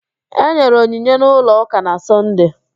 Enyere onyinye n'ụlọ ụka na Sọnde